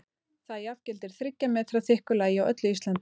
það jafngildir þriggja metra þykku lagi á öllu íslandi!